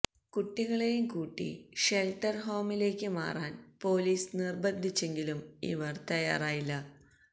കുട്ടികളെയും കൂട്ടി ഷെല്ട്ടര് ഹോമിലേക്ക് മാറാന് പോലീസ് നിര്ബന്ധിച്ചെങ്കിലും ഇവര് തയ്യാറായില്ല